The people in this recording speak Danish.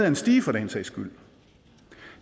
en stige for den sags skyld